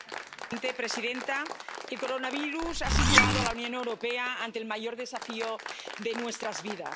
Señora presidenta, el coronavirus ha situado a la Unión Europea ante el mayor desafío de nuestras vidas.